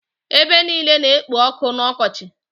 Ebe niile na-ekpo ọkụ n'ọkọchị.